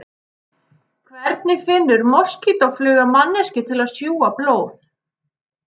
Hvernig finnur moskítófluga manneskju til að sjúga blóð?